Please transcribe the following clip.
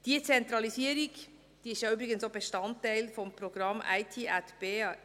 Diese Zentralisierung ist ja übrigens auch Bestandteil des Programms IT@BE.